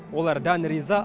олар дән риза